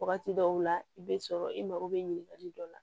Wagati dɔw la i bɛ sɔrɔ i mako bɛ ɲininkali dɔ la